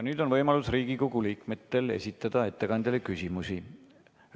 Nüüd on Riigikogu liikmetel võimalus esitada ettekandjale küsimusi.